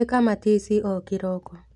ĩka matici o kĩroko.